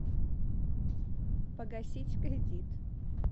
погасить кредит